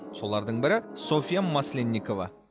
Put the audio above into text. солардың бірі софия масленникова